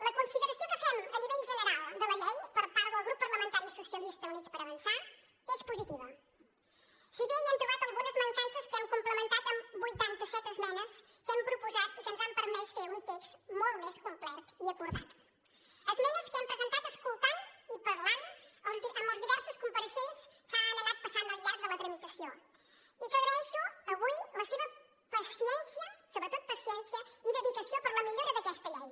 la consideració que fem a nivell general de la llei per part del grup parlamentari socialistes i units per avançar és positiva si bé hi hem trobat algunes mancances que hem complementat amb vuitanta set esmenes que hem proposat i que ens han permès fer un text molt més complet i acordat esmenes que hem presentat escoltant i parlant amb els diversos compareixents que han anat passant al llarg de la tramitació i que agraeixo avui la seva paciència sobretot paciència i dedicació per a la millora d’aquesta llei